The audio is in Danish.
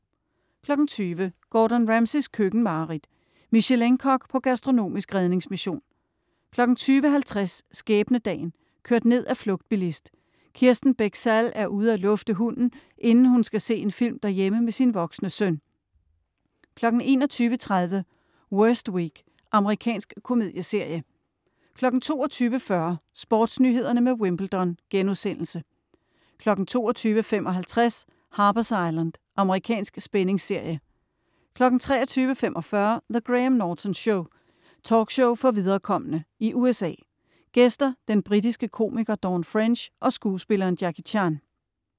20.00 Gordon Ramsays køkkenmareridt. Michelin-kok på gastronomisk redningsmission 20.50 Skæbnedagen. Kørt ned af flugtbilist. Kirsten Bech Sall er ude at lufte hunden, inden hun skal se en film derhjemme med sin voksne søn 21.30 Worst Week. Amerikansk komedieserie 22.40 SportsNyhederne med Wimbledon* 22.55 Harper's Island. Amerikansk spændingsserie 23.45 The Graham Norton Show. Talkshow for viderekomne I USA. Gæster: Den britiske komiker Dawn French og skuespilleren Jackie Chan